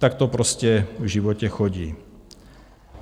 Tak to prostě v životě chodí.